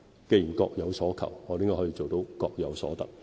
既然各有所求，我們應該可以做到各有所得。